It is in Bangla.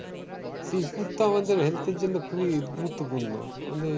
শিবপুর তো আমাদের health এর জন্য খুবই গুরুত্বপূর্ণ আমাদের